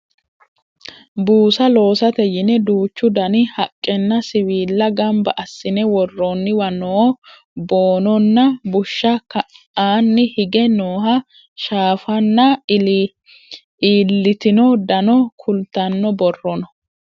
buusa loosate yine duuchu dani haqqenna siwilla ganba assine worroonniwa noo boononna bushsha ka'anni hige nooha shaafanna iillitino dano kultanno borro no